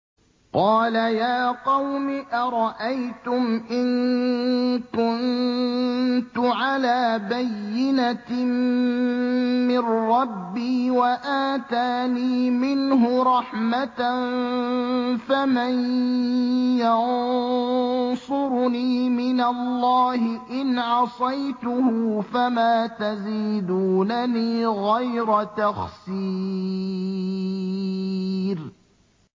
قَالَ يَا قَوْمِ أَرَأَيْتُمْ إِن كُنتُ عَلَىٰ بَيِّنَةٍ مِّن رَّبِّي وَآتَانِي مِنْهُ رَحْمَةً فَمَن يَنصُرُنِي مِنَ اللَّهِ إِنْ عَصَيْتُهُ ۖ فَمَا تَزِيدُونَنِي غَيْرَ تَخْسِيرٍ